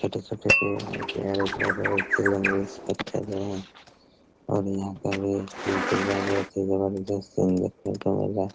छोटे-छोटे पेड़ है प्यारे-प्यारे बच्चे लोग भी इस पत्थर को यहाँ और यहाँ का भी मोतीजा बहुत ही जबरदस्त सीन देखने को मिल रहे हैं।